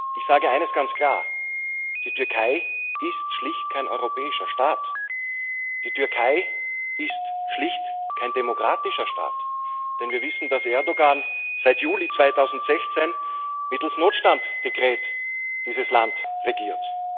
Ich sage eines ganz klar Die Türkei ist schlicht kein europäischer Staat, die Türkei ist schlicht kein demokratischer Staat. Denn wir wissen, dass Erdoğan seit Juli 2016 dieses Land mittels Notstandsdekreten regiert.